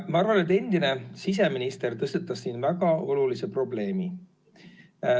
Ma arvan, et endine siseminister tõstatas siin väga olulise probleemi.